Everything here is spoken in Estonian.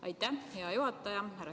Aitäh, hea juhataja!